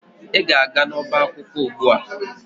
Ị ga-aga n'ọbá akwụkwọ ugbu a!